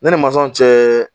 Ne ni masɔn cɛ